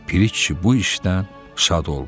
Piri kişi bu işdən şad oldu.